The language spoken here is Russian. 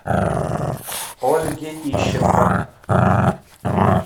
ольге ищенко